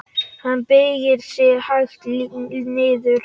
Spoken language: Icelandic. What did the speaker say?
Hann beygir sig hægt niður.